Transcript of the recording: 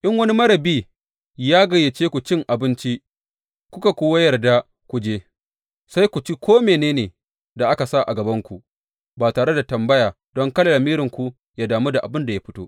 In wani marar bi ya gayyace ku cin abinci kuka kuwa yarda ku je, sai ku ci ko mene ne da aka sa a gabanku, ba tare da tambaya don kada lamiri yă damu da inda abin ya fito.